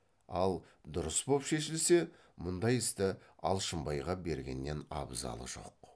ал дұрыс боп шешілсе мұндай істі алшынбайға бергеннен абзалы жоқ